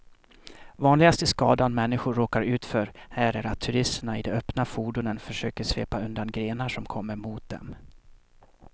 Vanligaste skadan människor råkar ut för här är att turisterna i de öppna fordonen försöker svepa undan grenar som kommer mot dem.